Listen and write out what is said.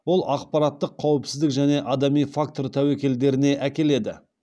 ол ақпараттық қауіпсіздік және адами фактор тәуекелдеріне әкеледі